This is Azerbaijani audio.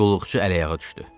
Qulluqçu əl-ayağa düşdü.